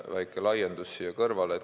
Väike laiendus siia kõrvale.